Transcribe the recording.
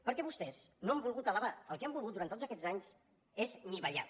perquè vostès no han volgut elevar el que han volgut durant tots aquests anys és anivellar